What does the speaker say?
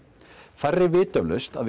færri vita eflaust að